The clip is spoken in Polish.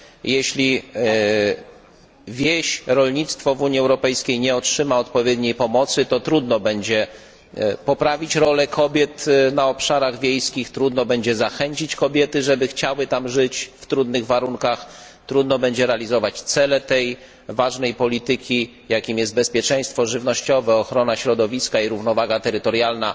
Jeśli wieś, rolnictwo w Unii Europejskiej nie otrzyma odpowiedniej pomocy, to trudno będzie poprawić rolę kobiet na obszarach wiejskich, trudno będzie zachęcić kobiety, żeby chciały tam żyć w trudnych warunkach, trudno będzie realizować cele tej ważnej polityki, jakimi są bezpieczeństwo żywnościowe, ochrona środowiska i równowaga terytorialna.